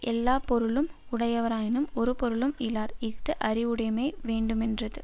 எல்லா பொருளும் உடையவராயினும் ஒரு பொருளும் இலர் இஃது அறிவுடைமை வேண்டுமென்றது